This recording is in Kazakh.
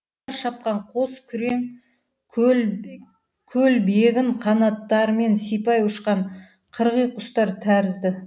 қатар шапқан қос күрең көл бегін қанаттарымен сипай ұшқан қырғи құстар тәрізді